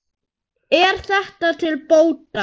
Kakan sé orðin nógu stór.